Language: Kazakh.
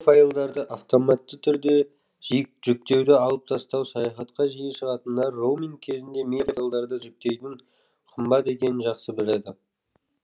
медиа файлдарды автоматты түрде жүктеуді алып тастау саяхатқа жиі шығатындар роуминг кезінде медиа файлдарды жүктеудің қымбат екенін жақсы біледі